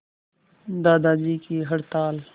दादाजी की हड़ताल